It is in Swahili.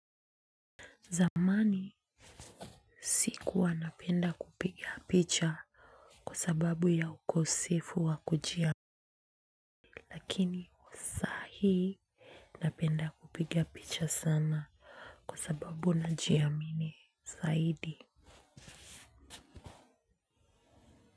Zamani sikuwa napenda kupiga picha kwa sababu ya ukosefu wa kujia. Lakini saa hii napenda kupiga picha sana kwa sababu na jiamini zaidi.